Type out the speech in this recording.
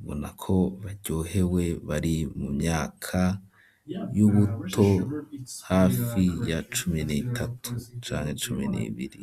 ubona ko baryohewe bari mu myaka y'ubuto, hafi ya cumi n'itatu canke cumi n'ibiri.